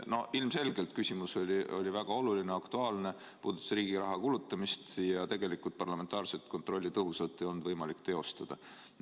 No ilmselgelt küsimus oli väga oluline ja aktuaalne, see puudutas riigi raha kulutamist, aga tegelikult ei olnud võimalik tõhusat parlamentaarset kontrolli teostada.